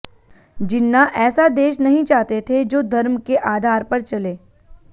जिन्ना ऐसा देश नहीं चाहते थे जो धर्म के आधार पर चले